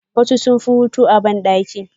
Wasu sunfi hotu a bandaki.